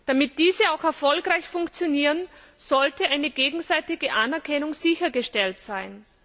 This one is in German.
Damit diese auch erfolgreich funktionieren, sollte eine gegenseitige Anerkennung sichergestellt sein.